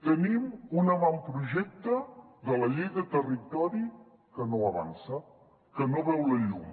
tenim un avantprojecte de la llei de territori que no avança que no veu la llum